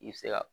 I bɛ se ka